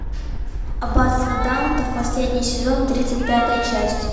аббатство даунтон последний сезон тридцать пятая часть